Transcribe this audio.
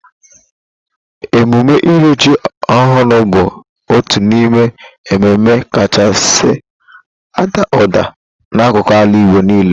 Emume ịrị ji ọhụrụ bụ otu n'ime emume kachasị ada ụda n'akụkụ ala Igbo nille.